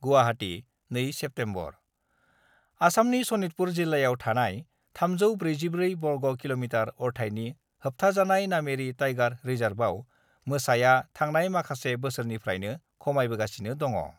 Guwahati, 2 September: आसामनि शनितपुर जिल्लायाव थानाय 344 बर्ग कि:मि: अरथायनि होबथाजानाय नामेरि टाइगार रिजार्भआव मोसाया थांनाय माखासे बोसोरनिफ्रायनो खमायबोगासिनो दङ।